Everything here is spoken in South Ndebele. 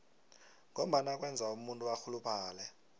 ngombana kwenza umuntu arhuluphale